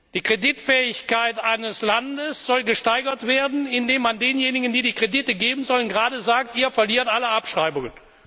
Die Kreditfähigkeit eines Landes soll gesteigert werden, indem man denjenigen, die die Kredite geben sollen, sagt, ihr verliert alle Abschreibungen.